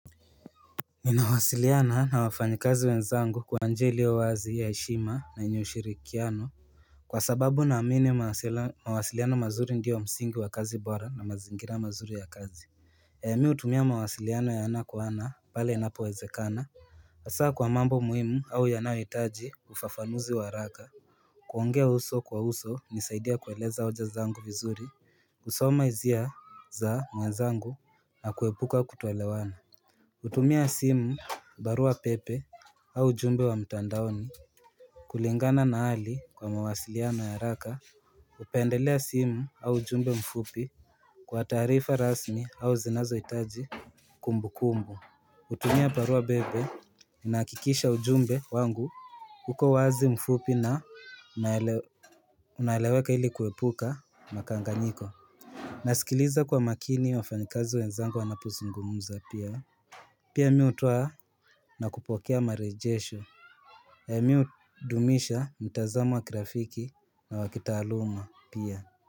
Ninawasiliana na wafanyikazi wenzangu kwa njia ilio wazi ya heshima na yenye ushirikiano kwa sababu na amini mawasala mawasiliano mazuri ndio msingi wa kazi bora na mazingira mazuri ya kazi mi hutumia mawasiliano ya ana kwa ana pale inapo wezekana hasaa kwa mambo muhimu au yanahohitaji ufafanuzi wa haraka kuongea uso kwa uso hunisaidia kueleza hoja zangu vizuri kusoma hizia za mwenzangu na kuepuka kutoelewana hutumia simu barua pepe au ujumbe wa mtandaoni kulingana na hali kwa mawasiliano ya haraka pendelea simu au ujumbe mfupi kwa taarifa rasmi au zinazo hitaji kumbu kumbu utumia barua bepe inakikisha ujumbe wangu uko wazi mfupi na unaelewe unaeleweka ili kuepuka makanganyiko nasikiliza kwa makini wafanyikazi wenzango wanapozungumuza pia Pia mimi hutoa na kupokea marejesho E mi dumisha mtazamo wa grafiki na wakitaluma pia.